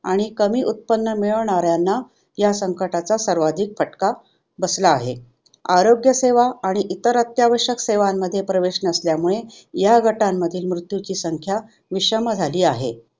आणि कमी उत्पन्न मिळवणाऱ्यांना ह्या संकटाचा सर्वाधिक फटका बसला आहे. आरोग्य सेवा आणि इतर अत्यावश्यक सेवांमध्ये प्रवेश नसल्यामुळे ह्या गटांमध्ये मृत्यूची संख्या विषम झाली आहे.